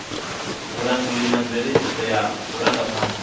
vhulanguli na mveledziso ya vhurangaphanḓa